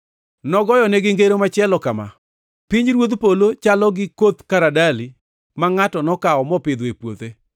Nogoyonegi ngero machielo kama: “Pinyruodh polo chalo gi koth karadali ma ngʼato nokawo mopidho e puothe.